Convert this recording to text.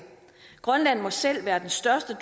grønland må selv være den største